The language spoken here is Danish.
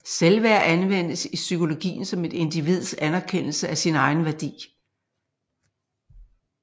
Selvværd anvendes i psykologien om et individs anerkendelse af sin egen værdi